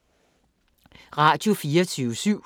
Radio24syv